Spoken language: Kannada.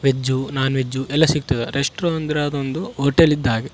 ವೆಜ್ಜ್ ನೋನ್ ವೆಜ್ ಎಲ್ಲ ಸಿಗ್ತದ ರೆಸ್ಟ್ರೋ ಅಂದ್ರೆ ಅದೊಂದು ಹೊಟೆಲ್ ಇದ್ದ್ ಹಾಗೆ.